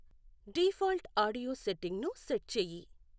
default audio సెట్టింగ్ను set చెయ్యి